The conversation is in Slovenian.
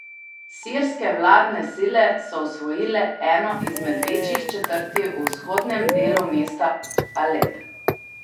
Sirske vladne sile so osvojile eno izmed večjih četrti v vzhodnem delu mesta Alep.